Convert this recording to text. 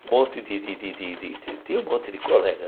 Um monte de de de de de... Tinha um monte de colega.